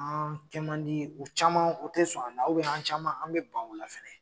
An kɛman di, u caman o tɛ sɔn an na an caman an bɛ ban o la fɛnɛ.